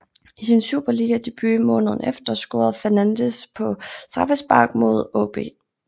I sin superligadebut måneden efter scorede Fernandez på straffespark mod AaB